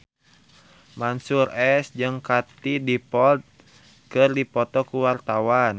Mansyur S jeung Katie Dippold keur dipoto ku wartawan